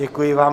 Děkuji vám.